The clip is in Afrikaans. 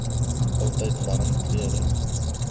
altyd warm klere